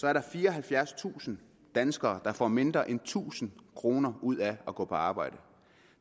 er der fireoghalvfjerdstusind danskere der får mindre end tusind kroner ud af at gå på arbejde